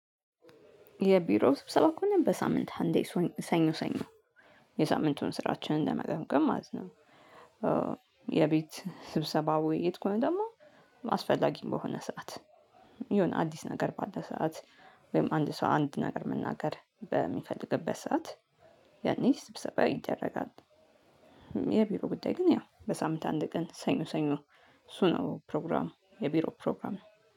የቢሮ ስብሰባ ከሆነ በሳምንት አንዴ ሰኞ ሰኞ የሳምንቱን ስራችንን ለመገምገም ማለት ነው። የቤት ስብሰባ ውይይት ከሆነ ደሞ አስፈላጊም በሆነ ሰዓት የሆነ አዲስ ነገር ባለ ሰዓት ወይም አንድ ሰው አንድ ነገር መናገር በሚፈልግበት ሰዓት ያኔ ስብሰባ ይደረጋል። የቢሮ ጉዳይ ግን ያው በሳምንት አንድ ቀን ያው ሰኞ ሰኞ እሱ ነው ፕሮግራሙ የቢሮ ፕሮግራሙ።